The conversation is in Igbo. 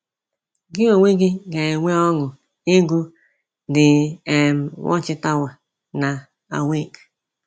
Gị onwe gị ga-enwe ọṅụ ịgụ The um Watchtower na Awake!